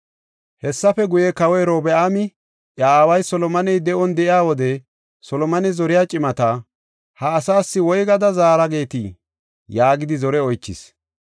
Hessafe guye, kawoy Robi7aami, iya aaway Solomoney de7on de7iya wode, Solomone zoriya cimata, “Ha asaas woygada zaara geetii?” yaagidi zore oychis.